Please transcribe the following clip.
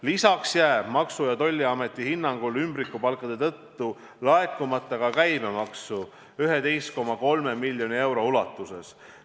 Lisaks jääb Maksu- ja Tolliameti hinnangul ümbrikupalkade tõttu laekumata ka käibemaksu 11,3 miljoni euro ulatuses.